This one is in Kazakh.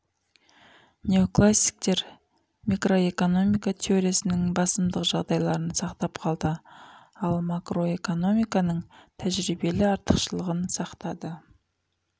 неоклассиктер микроэкономика теориясының басымдық жағдайларын сақтап қалды ал макроэкономиканың тәжиребелі артықшылығын сақтады